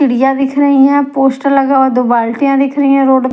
सीढ़ियां दिख रही है पोस्टर लगा हुआ दो बाल्टियां दिख रही हैं रोड --